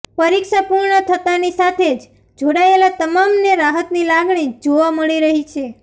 પરીક્ષા પુર્ણ થતાંની સાથે જ જોડાયેલ તમામને રાહતની લાગણી જોવા મળી રહી છે